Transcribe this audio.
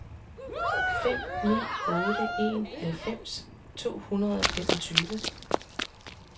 fem ni otte en halvfems to hundrede og femogtyve